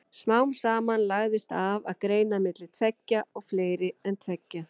Smám saman lagðist af að greina á milli tveggja og fleiri en tveggja.